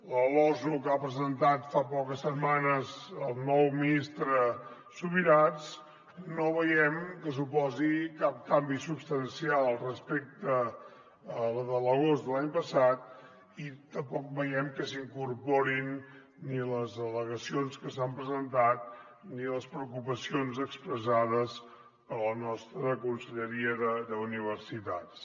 la losu que ha presentat fa poques setmanes el nou ministre subirats no veiem que suposi cap canvi substancial respecte a la de l’agost de l’any passat i tampoc veiem que s’hi incorporin ni les al·legacions que s’han presentat ni les preocupacions expressades per la nostra conselleria d’universitats